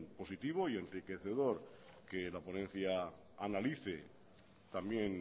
positivo y enriquecedor que la ponencia analice también